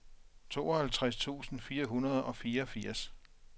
tooghalvtreds tusind fire hundrede og fireogfirs